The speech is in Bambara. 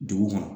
Dugu kɔnɔ